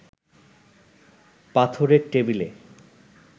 পাথরের টেবিলে